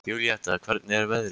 Júlíetta, hvernig er veðrið úti?